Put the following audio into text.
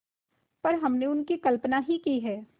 पर हमने उनकी कल्पना ही है